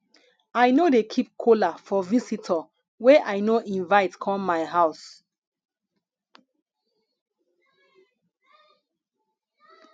i no dey keep kola for visitor wey i no invite come my house